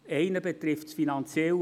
Einer betrifft das Finanzielle.